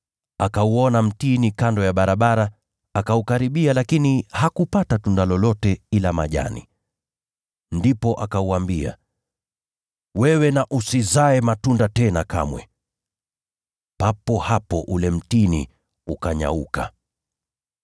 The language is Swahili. Akauona mtini kando ya barabara, naye akaukaribia, lakini hakupata tunda lolote ila majani. Ndipo akauambia, “Wewe usizae matunda tena kamwe!” Papo hapo ule mtini ukanyauka.